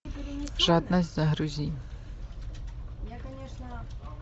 жадность загрузи